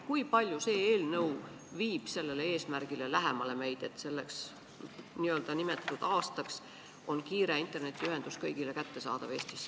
Kui palju viib see eelnõu meid sellele eesmärgile lähemale, et nimetatud aastaks oleks Eestis kiire internetiühendus kõigile kättesaadav?